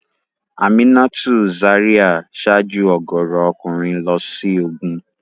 Aminatu Zaria ṣáájú ọ̀gọ̀ọ̀rọ̀ ọkùnrin lọ sí ogun.